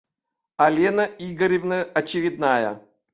алена игоревна очередная